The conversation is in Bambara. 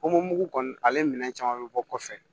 kɔni ale minɛn caman bɛ bɔ kɔfɛ